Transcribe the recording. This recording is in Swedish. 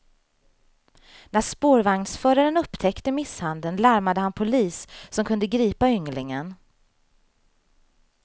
När spårvagnsföraren upptäckte misshandeln larmade han polis som kunde gripa ynglingen.